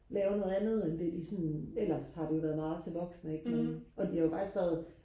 lave noget andet end det de sådan ellers har det jo været meget til voksne ikke og de har jo faktisk været